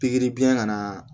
Pikiri biyɛn kana